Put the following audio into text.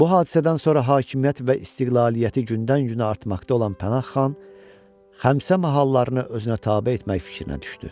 Bu hadisədən sonra hakimiyyət və istiqlaliyyəti gündən-günə artmaqda olan Pənah xan Xəmsə mahallarını özünə tabe etmək fikrinə düşdü.